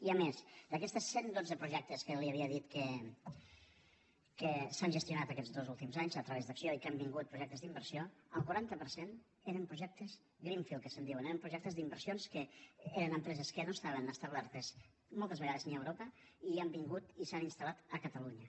i a més d’aquests cent dotze projectes que li havia dit que s’han gestionat aquests dos últims anys a través d’acció i amb què han vingut projectes d’inversió el quaranta per cent eren projectes greenfield que se’n diuen eren projectes d’inversions que eren empreses que no estaven establertes moltes vegades ni a europa i han vingut i s’han instal·lat a catalunya